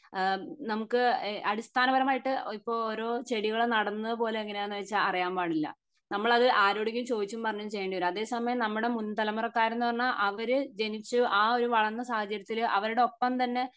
ഈഹ് നമുക്ക് ഇഹ് അടിസ്ഥാന പരമായിട്ട് ഇപ്പൊ ഓരോ ചെടികൾ നടുന്നത് പോലും എങ്ങിനാന്ന് വെച്ചാൽ അറിയാൻ പാടില്ല നമ്മളത് ആരോടെങ്കിലും ചോയ്ച്ചും പറഞ്ഞും ചെയ്യേണ്ടി വരും അതേ സമയം നമ്മുടെ മുൻ തലമുറക്കാർ എന്ന് പറഞ്ഞാ അവര് ജനിച്ച് ആ ഒരു വളർന്ന സാഹചര്യത്തിൽ അവരുടെ ഒപ്പം തന്നെ